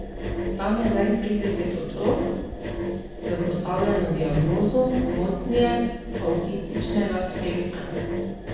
Tam je zdaj trideset otrok s postavljeno diagnozo motnje avtističnega spektra.